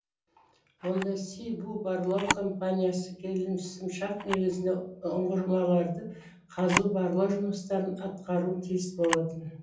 онда си бу барлау компаниясы келісімшарт негізінде ұңғымаларды қазу барлау жұмыстарын атқаруы тиіс болатын